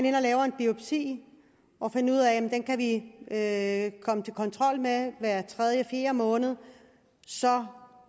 ind og lave en biopsi og finde ud af at de komme til kontrol hver tredje eller fjerde måned og så